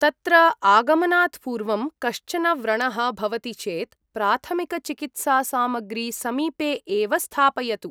तत्र आगमनात् पूर्वं कश्चन व्रणः भवति चेत् प्राथमिकचिकित्सासामग्री समीपे एव स्थापयतु।